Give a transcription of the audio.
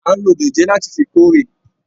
A n ló dòjé láti fí kóre.